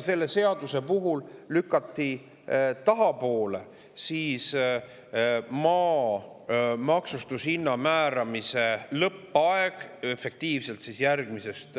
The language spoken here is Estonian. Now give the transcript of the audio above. Seaduse kohaselt lükati ka tahapoole maa maksustamise hinna määramise lõppaeg järgmisest